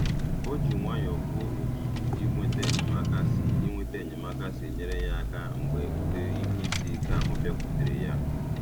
O ji nwayọọ kwuo otu inweta enyemaka si inweta enyemaka si nyere ya aka mgbe ụdị ihe isi ike ahụ bịakwutere ya.